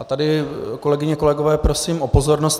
A tady, kolegyně, kolegové, prosím o pozornost.